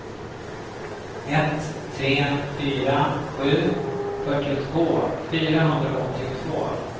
ett tre fyra sju fyrtiotvå fyrahundraåttiotvå